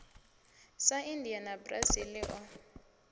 sa india na brazil o